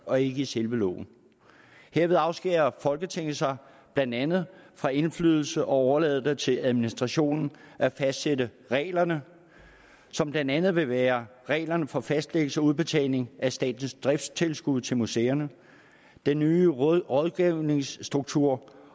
og ikke i selve loven herved afskærer folketinget sig blandt andet fra indflydelse og overlader det til administrationen at fastsætte reglerne som blandt andet vil være reglerne for fastlæggelse og udbetaling af statens driftstilskud til museerne den nye rådgivningsstruktur